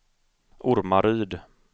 Ormaryd